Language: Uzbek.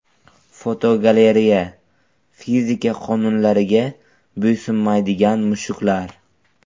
Fotogalereya: Fizika qonunlariga bo‘ysunmaydigan mushuklar.